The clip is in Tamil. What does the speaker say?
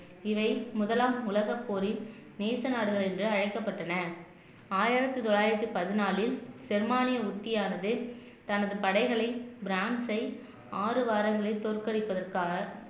இவை முதலாம் உலகப் போரில் நேச நாடுகள் என்று அழைக்கப்பட்டன ஆயிரத்தி தொள்ளாயிரத்தி பதினாலில் ஜெர்மானிய உத்தியானது தனது படைகளை பிரான்ஸை ஆறு வாரங்களில் தோற்கடிப்பதற்காக